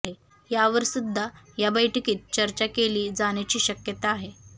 यावर सुद्धा या बैठकीत चर्चा केली जाण्याची शक्यता आहे